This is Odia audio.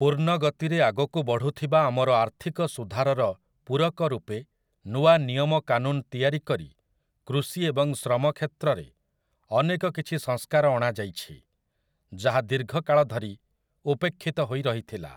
ପୂର୍ଣ୍ଣଗତିରେ ଆଗକୁ ବଢୁଥିବା ଆମର ଆର୍ଥିକ ସୁଧାରର ପୂରକରୂପେ ନୂଆ ନିୟମକାନୁନ ତିଆରି କରି କୃଷି ଏବଂ ଶ୍ରମ କ୍ଷେତ୍ରରେ ଅନେକ କିଛି ସଂସ୍କାର ଅଣାଯାଇଛି ଯାହା ଦୀର୍ଘକାଳଧରି ଉପେକ୍ଷିତ ହୋଇ ରହିଥିଲା ।